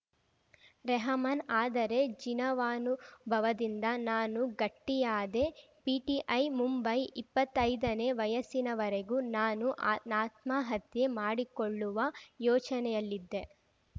ರೆಹಮಾನ್‌ ಆದರೆ ಜೀನವಾನುಭವದಿಂದ ನಾನು ಗಟ್ಟಿಯಾದೆ ಪಿಟಿಐ ಮುಂಬೈ ಇಪ್ಪತ್ತೈದನೇ ವಯಸ್ಸಿನವರೆಗೂ ನಾನು ಆ ಆತ್ಮಹತ್ಯೆ ಮಾಡಿಕೊಳ್ಳುವ ಯೋಚನೆಯಲ್ಲಿದ್ದೆ